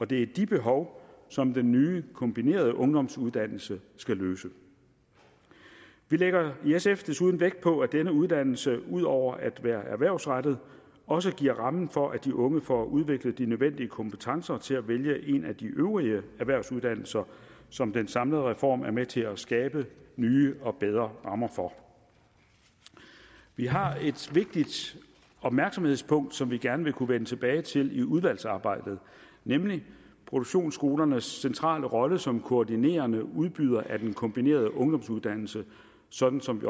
det er de behov som den nye kombinerede ungdomsuddannelse skal dække vi lægger i sf desuden vægt på at denne uddannelse ud over at være erhvervsrettet også giver rammen for at de unge får udviklet de nødvendige kompetencer til at vælge en af de øvrige erhvervsuddannelser som den samlede reform er med til at skabe nye og bedre rammer for vi har et vigtigt opmærksomhedspunkt som vi gerne vil kunne vende tilbage til i udvalgsarbejdet nemlig produktionsskolernes centrale rolle som koordinerende udbydere af den kombinerede ungdomsuddannelse sådan som